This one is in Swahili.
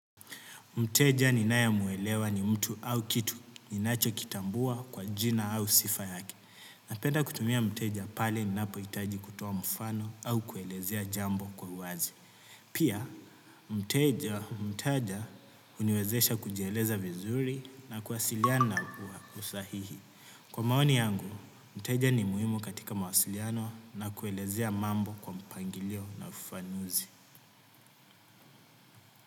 Mteja ninae muelewa ni mtu au kitu ninacho kitambua kwa jina au sifa yake. Napenda kutumia mteja pale ninapo hitaji kutoa mfano au kuelezea jambo kwa uwazi. Pia, mteja huniwezesha kujieleza vizuri na kuwasiliana kwa usahihi. Kwa maoni yangu, mteja ni muhimo katika mawasiliano na kuelezea mambo kwa mpangilio na ufafanuzi.